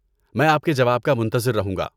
میں آپ کے جواب کا منتطر رہوں گا۔